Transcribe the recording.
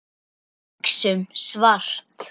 Hugsum svart.